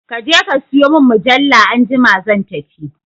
Kaje ka sayo mun mujalla anjima zan tafi